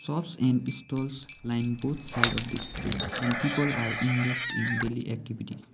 shops and stalls line both side of the street and people are engaged in daily activities.